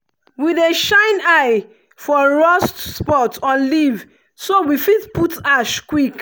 we dey shine eye for rust spot on leaf so we fit put ash quick.